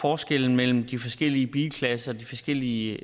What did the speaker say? forskellen mellem de forskellige bilklasser de forskellige